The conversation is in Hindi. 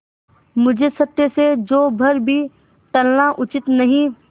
मुझे सत्य से जौ भर भी टलना उचित नहीं